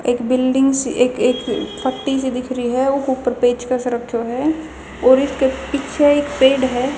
एक बिल्डिंग सी एक एक फाटी सी दिख री हं उकह ऊपर पेचकस रख्यो ह और इसके पीछे एक पेड़ ह --